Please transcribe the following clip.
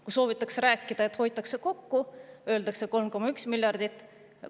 Kui soovitakse rääkida, et hoitakse kokku, öeldakse 3,1 miljardit.